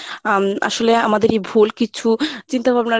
আম আসলে আমাদেরই ভুল কিছু চিন্তাভাবনার